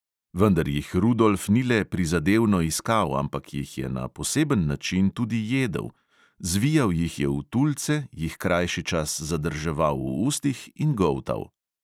Vendar jih rudolf ni le prizadevno iskal, ampak jih je na poseben način tudi jedel: zvijal jih je v tulce, jih krajši čas zadrževal v ustih in goltal.